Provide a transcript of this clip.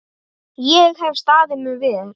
Ég hef staðið mig vel.